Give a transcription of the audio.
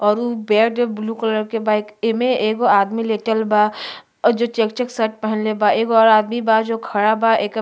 और उ bed blue colour के बा। एमे एगो आदमी लेटल बा और जे चेक चेक शर्ट पहिनले बा। एगो और आदमी बा जो खड़ा बा। एकर --